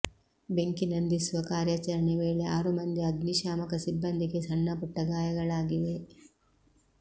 ಬೆಂಕಿ ನಂದಿಸುವ ಕಾರ್ಯಾಚರಣೆ ವೇಳೆ ಆರು ಮಂದಿ ಅಗ್ನಿಶಾಮಕ ಸಿಬ್ಬಂದಿಗೆ ಸಣ್ಣಪುಟ್ಟ ಗಾಯಗಳಾಗಿವೆ